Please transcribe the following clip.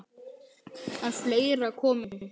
En fleira kom til.